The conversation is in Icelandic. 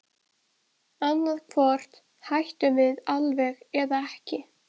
Annað hvort hættum við alveg eða ekki.